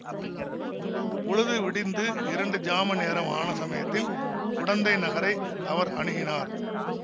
பொழுது விடிந்து இரண்டு ஜாம நேரம் ஆன சமயத்தில் குடந்தை நகரை அவர் அணுகினார்